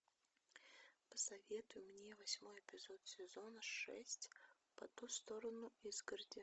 посоветуй мне восьмой эпизод сезона шесть по ту сторону изгороди